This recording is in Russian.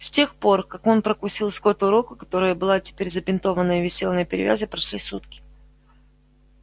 с тех пор как он прокусил скотту руку которая была теперь забинтована и висела на перевязи прошли сутки